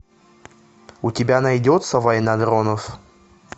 у тебя найдется война дронов